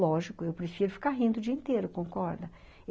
Lógico, eu prefiro ficar rindo o dia inteiro, concorda?